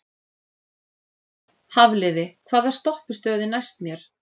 Hafliði, hvaða stoppistöð er næst mér?